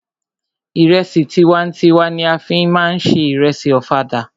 Ìrẹsì tiwa n tiwa ni a fí má ń se ìrẹsì ọ̀fadà.